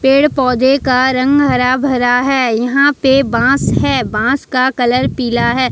पेड़ पौधे का रंग हरा भरा है यहां पे बांस है बांस का कलर पीला है।